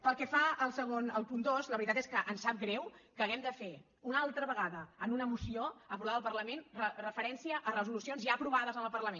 pel que fa al punt dos la veritat és que ens sap greu que hàgim de fer una altra vegada en una moció aprovada al parlament referència a resolucions ja aprovades en el parlament